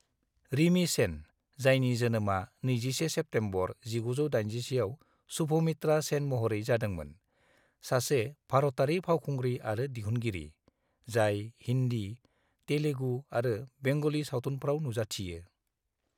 रिमी सेन, जायनि जोनोमआ 21 सेप्तेम्बर 1981आव सुभमित्रा सेन महरै जादोंमोन, सासे भारतारि फावखुंग्रि आरो दिहुनगिरि, जाय हिन्दी, तेलेगु आरो बेंगली सावथुनफ्राव नुजाथियो।